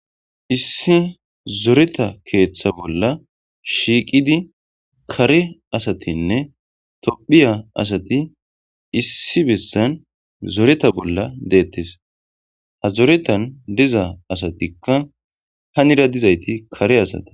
Issi zoreta keeththa bolla shiiqidi kare asatinne tophiya asati issi bessan zoreta bolla deettes ha zoretan diza asatikka hanira dizayti kare asata.